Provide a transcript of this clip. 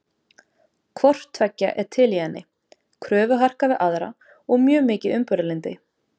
Hvort tveggja er til í henni, kröfuharka við aðra og mjög mikið umburðarlyndi.